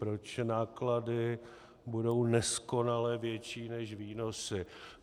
Proč náklady budou neskonale větší než výnosy.